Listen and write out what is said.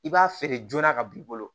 I b'a feere joona ka b'i bolo